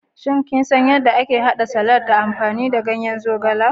Shin ko kisan yadda ake hada salati ta amfani da ganyen zogale?